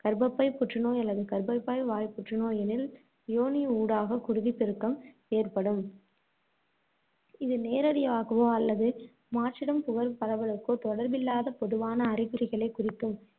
கர்பப்பை புற்றுநோய் அல்லது கர்பப்பை வாய்ப் புற்றுநோய் எனில் யோனி ஊடாக குருதிப்பெருக்கம் ஏற்படும் இது நேரடியாகவோ அல்லது மாற்றிடம் பரவலுக்கோ தொடர்பில்லாத பொதுவான அறிகுறிகளைக் குறிக்கும்